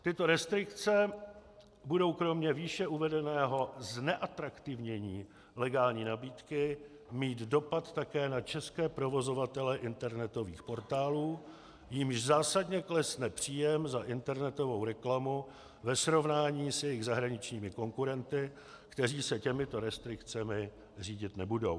Tyto restrikce budou kromě výše uvedeného zneatraktivnění legální nabídky mít dopad také na české provozovatele internetových portálů, jimž zásadně klesne příjem za internetovou reklamu ve srovnání s jejich zahraničními konkurenty, kteří se těmito restrikcemi řídit nebudou.